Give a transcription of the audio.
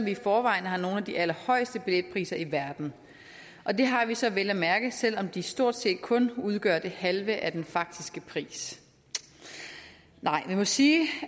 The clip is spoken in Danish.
i forvejen har nogle af de allerhøjeste billetpriser i verden det har vi så vel at mærke selv om de stort set kun udgør det halve af den faktiske pris nej man må sige